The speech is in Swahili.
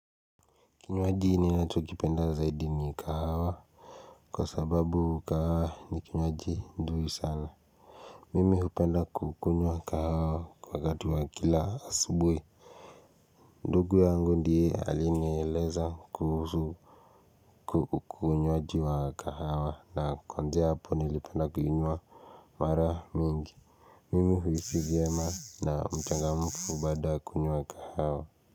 Kinywaji ninacho kipenda zaidi ni kahawa Kwa sababu kahawa ni kinywaji nzuri sana Mimi hupenda kukunywa kahawa wakati wa kila asubuhi ndugu yangu ndiye alineyeleza kuhusu kukunywaaji wa kahawa na kuanzia hapo nilipenda kukunywa mara mingi Mimi huisi vyema na mchangamfu baada kunywa kahawa.